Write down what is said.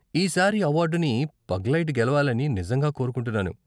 ఈ సారి అవార్డుని పగ్లైట్ గెలవాలని నిజంగా కోరుకుంటున్నాను.